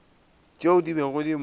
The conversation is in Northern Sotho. tšeo di bego di mo